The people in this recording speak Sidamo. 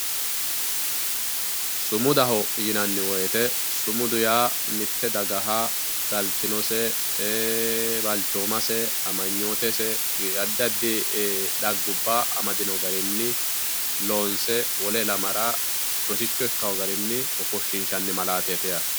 sumudaho yinanni woyite sumudu ya mitte dagaha galitinose ee balichomasse amagnotesse adi adi e ghagubba amadino garinni loomse wolle ilamara rosicho ikawo garinni ofonshishanni malatetti yatte